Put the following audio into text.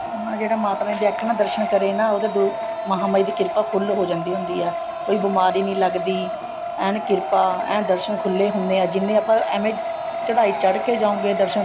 ਹਾਂ ਜਿਹੜਾ ਮਾਤਾ ਰਾਣੀ ਦੇ ਇੱਕ ਨਾ ਦਰਸ਼ਨ ਕਰੇ ਨਾ ਉਹਦੇ ਮਾਂਹਮਾਹੀ ਦੀ ਕਿਰਪਾ full ਹੋ ਜਾਂਦੀ ਹੁੰਦੀ ਹੈ ਕੋਈ ਬੀਮਾਰੀ ਨਹੀਂ ਲੱਗਦੀ ਐਨ ਕਿਰਪਾ ਐਨ ਦਰਸ਼ਨ ਖੁੱਲੇ ਹੁੰਦੇ ਆ ਜਿਹਨੇ ਆਪਾਂ ਐਵੇ ਚੜਾਈ ਚੱੜ ਕੇ ਜਾਓਗੇ ਦਰਸ਼ਨ